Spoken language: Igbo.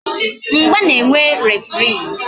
Mgba na-enwe referii